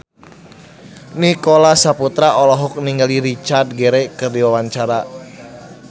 Nicholas Saputra olohok ningali Richard Gere keur diwawancara